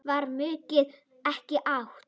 Var maukið ekki ætt?